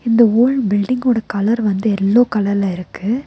இந்த ஹோல் பில்டிங்கோட கலர் வந்து எல்லோ கலர்ல இருக்கு.